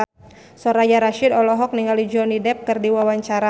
Soraya Rasyid olohok ningali Johnny Depp keur diwawancara